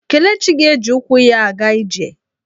Kelechi ga-eji ụkwụ ya aga ije.